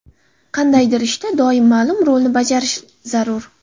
Qandaydir ishda doim ma’lum rolni bajarish zarur.